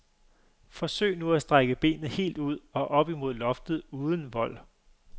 Forsøg nu at strække benet helt ud og op imod loftet uden vold.